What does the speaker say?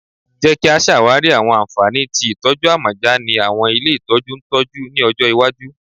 Jẹ ki a ṣawari awọn anfani ti itọju amọja ni awọn ile itọju ntọju ni ọjọ iwaju